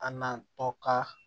An na tɔ ka